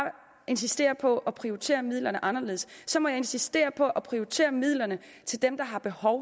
insistere på at prioritere midlerne anderledes så må jeg insistere på at prioritere midlerne til dem der har behov